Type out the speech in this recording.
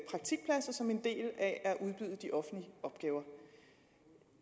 praktikpladser som en del af at udbyde de offentlige opgaver